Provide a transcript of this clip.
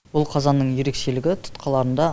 бұл қазанның ерекшелігі тұтқаларында